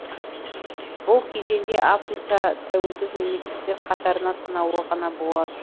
бұл кезеңде африкада тәуелсіз мемлекттер қатары санаулы ғана болады